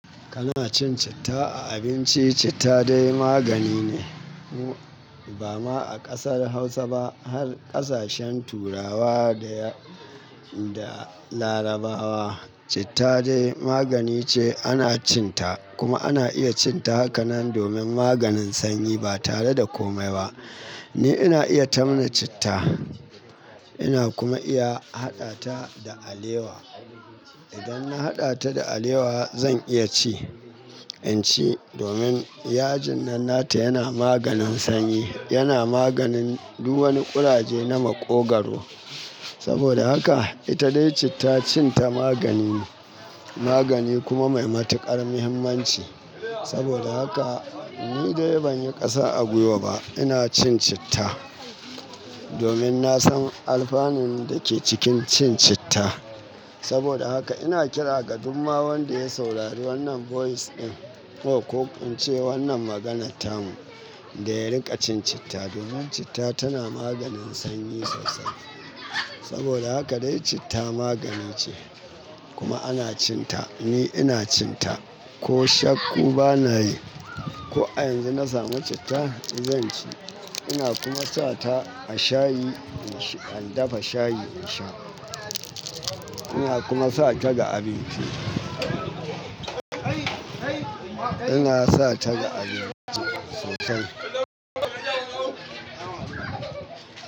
Kana cin citta a abinci, citta dai magani ne. Ba ma a ƙasar Hausa ba, har ƙasashen Turawa da da Larabawa citta dai magani ce ana cin ta. Kuma ana iya cin ta hakanan domin maganin sanyi ba tare da komai ba. Ni ina iya tamna citta, ina kuma iya haɗa ta da alewa. Idan na haɗa ta da alewa zan iya ci, in ci domin yajin nan nata yana maganin sanyi, yana maganin du wani ƙuraje na maƙogwaro. Saboda haka ita dai citta cin ta magani ne, magani kuma mai matuƙar muhimmanci. Saboda haka ni dai ban yi ƙasa a gwiwa ba ina cin citta domin na san alfanun da ke cikin cin citta. Saboda haka ina kira gadumma wanda ya saurari wannan voice ɗin ko in ce wannan maganar ta mu da ya riƙa cin citta domin citta tana maganin sanyi sosai. Saboda haka dai citta magani ce kuma ana cin ta. Ni ina cin ta, ko shakku ba na yi. Ko a yanzu na samu citta zan ci. Ina kuma sa ta a shayi in sha in dafa shayi in sha. Ina kuma sa ta ga abinci. Ina sa ta ga abinci sosai.